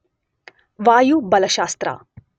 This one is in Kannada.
ವಾಯುಬಲಶಾಸ್ತ್ರ